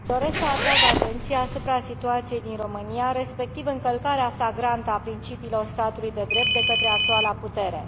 Doresc să atrag atenția asupra situației din România, respectiv încălcarea flagrantă a principiilor statului de drept de către actuala putere.